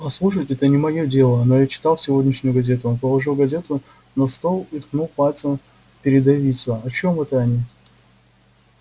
послушайте это не моё дело но я читал сегодняшнюю газету он положил газету на стол и ткнул пальцем в передовицу о чём это они